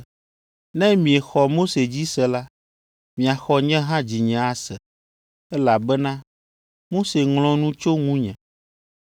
Ne miexɔ Mose dzi se la, miaxɔ nye hã dzinye ase, elabena Mose ŋlɔ nu tso ŋunye.